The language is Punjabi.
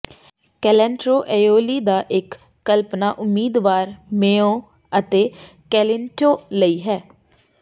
ਕੈਲੰਟ੍ਰੋ ਏਓਓਲੀ ਦਾ ਇਕ ਕਲਪਣਾ ਉਮੀਦਵਾਰ ਮੇਓ ਅਤੇ ਕੈਲੀੈਂਟੋ ਲਈ ਹੈ